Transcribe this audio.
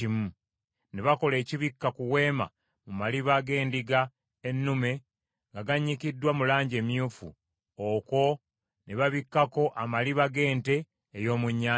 Ne bakola ekibikka ku Weema mu maliba g’endiga ennume nga gannyikiddwa mu langi emyufu; okwo ne babikkako amaliba g’ente ey’omu nnyanja.